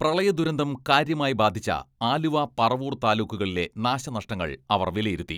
പ്രളയദുരന്തം കാര്യമായി ബാധിച്ച ആലുവ, പറവൂർ താലൂക്കുകളിലെ നാശനഷ്ടങ്ങൾ അവർ വിലയിരുത്തി.